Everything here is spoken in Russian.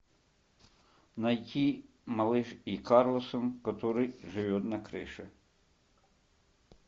найти малыш и карлсон который живет на крыше